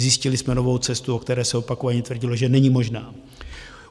Zjistili jsme novou cestu, o které se opakovaně tvrdilo, že není možná.